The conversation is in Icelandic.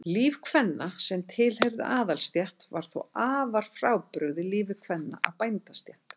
Líf kvenna sem tilheyrðu aðalsstétt var þó afar frábrugðið lífi kvenna af bændastétt.